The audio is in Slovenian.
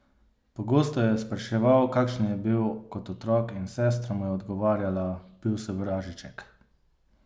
Pogosto jo je spraševal, kakšen je bil kot otrok in sestra mu je odgovarjala: "Bil si vražiček.